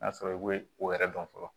N'a sɔrɔ i bɛ o yɛrɛ dɔn fɔlɔ